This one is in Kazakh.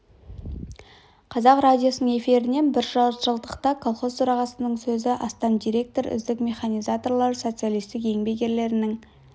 қазақ радиосының эфирінен бір жарты жылдықта колхоз төрағасының сөзі астам директор үздік механизаторлар социалистік еңбек ерлерінің